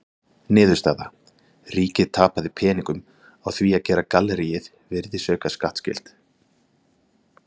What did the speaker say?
Niðurstaða: Ríkið tapaði peningum á því að gera galleríið virðisaukaskattskylt!